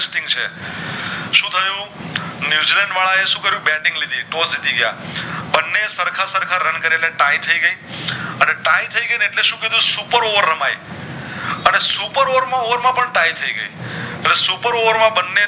New Zealand વાળા એ શું કરિયું Batting લીધી તો જીતી ગયા બને સરખા સરખા રન કરી ને Ty થઈ ગયા અને Ty થઈ ગય ને એટલે સુ કીધું supper over રમાય અને supper over માં પણ Ty થઈ ગય supper over માં બને